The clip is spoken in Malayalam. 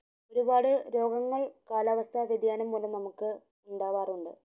ഒരുപാട് രോഗങ്ങൾ കാലാവസ്ഥ വ്യാദ്യാനം മൂലം നമുക് ഇണ്ടാവാറുണ്ട്